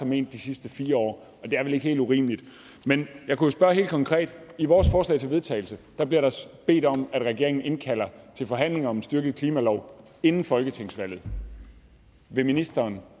ment de sidste fire år og det er vel ikke helt urimeligt men jeg kunne jo spørge helt konkret i vores forslag til vedtagelse bliver der bedt om at regeringen indkalder til forhandlinger om en styrket klimalov inden folketingsvalget vil ministeren